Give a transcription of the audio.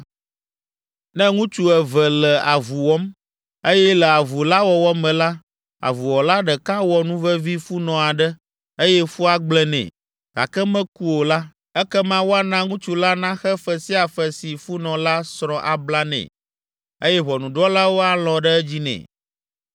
“Ne ŋutsu eve le avu wɔm, eye le avu la wɔwɔ me la, avuwɔla ɖeka wɔ nuvevi funɔ aɖe, eye fua gblẽ nɛ, gake meku o la, ekema woana ŋutsu la naxe fe sia fe si funɔ la srɔ̃ abla nɛ, eye ʋɔnudrɔ̃lawo alɔ̃ ɖe edzi nɛ.